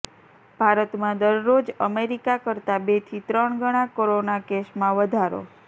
ભારતમાં દરરોજ અમેરિકા કરતાં બેથી ત્રણ ગણા કોરોના કેસમાં વધારો